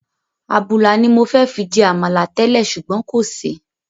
Àbùlà ni mọ fẹ́ fi jẹ Àmàlà tẹ́lẹ̀ ṣùgbọ́n kò sí.